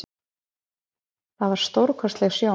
Það var stórkostleg sjón.